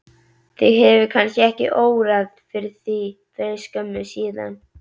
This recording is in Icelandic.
Þig hefur kannski ekki órað fyrir því fyrir skömmu síðan?